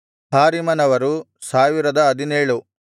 ಹಾರಿಮನವರು 1017